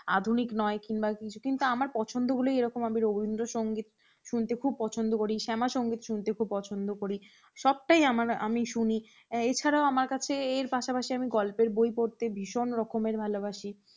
আধুনিক নয় কিংবা কিছু কিন্তু আমার পছন্দগুলো এরকম, আমি রবীন্দ্রসঙ্গীত শুনতে খুব পছন্দ করি। শ্যামা সঙ্গীত শুনতে খুব পছন্দ করি। সবটাই আমার আমি শুনি। এছাড়াও আমার কাছে এর পাশাপাশি আমি গল্পের বই পড়তে ভীষণ রকমের ভালোবাসি।